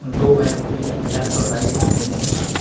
दो व्यक्ति लेफ्ट और राइट में खड़े हैं।